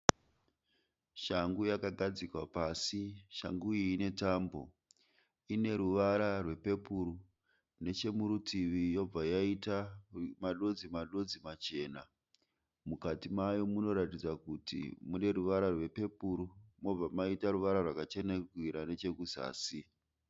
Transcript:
Shangu yakagadzikwa pasi. Shangu iyi inetambo. Ineruvara rwepepuru, nechemurutivi yobva yaita madodzi-madodzi machena. Mukati mayo munoratidza kuti muneruvara rwepepuru mobva maita ruvara rwakachenerukira nechekuzasi.